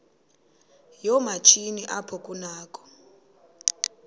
yoomatshini apho kunakho